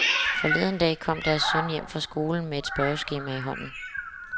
Forleden dag kom deres søn hjem fra skolen med et spørgeskema i hånden.